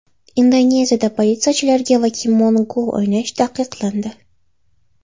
Indoneziyada politsiyachilarga Pokemon Go o‘ynash taqiqlandi.